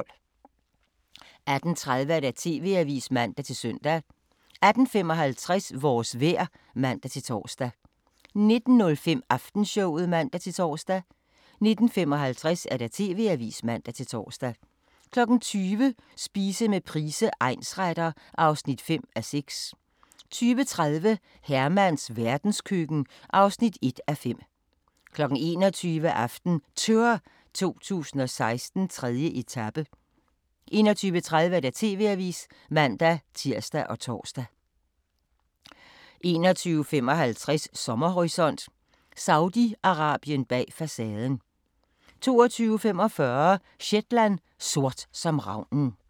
18:30: TV-avisen (man-søn) 18:55: Vores vejr (man-tor) 19:05: Aftenshowet (man-tor) 19:55: TV-avisen (man-tor) 20:00: Spise med Price, egnsretter (5:6) 20:30: Hermans verdenskøkken (1:5) 21:00: AftenTour 2016: 3. etape 21:30: TV-avisen (man-tir og tor) 21:55: Sommerhorisont: Saudi-Arabien bag facaden 22:45: Shetland: Sort som ravnen